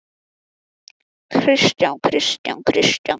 Sindri Sindrason: Þannig að þú útilokar ekki ráðherraskipti nú fljótlega?